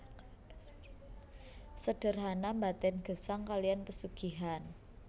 Sederhana mbaten gesang kalian pesugihan